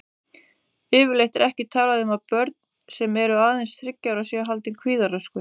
Yfirleitt er ekki talað um að börn sem eru aðeins þriggja ára séu haldin kvíðaröskun.